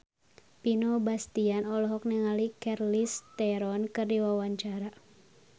Vino Bastian olohok ningali Charlize Theron keur diwawancara